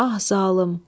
Ah zalım!